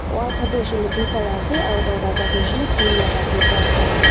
wall colour hoile aru darvaza tu hoile tu khori laga ase brown colour --